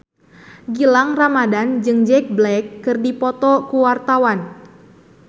Gilang Ramadan jeung Jack Black keur dipoto ku wartawan